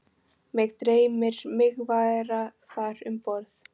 Mig dreymir mig vera þar um borð